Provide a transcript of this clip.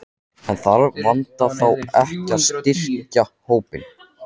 En þarf Vanda þá ekki að styrkja hópinn?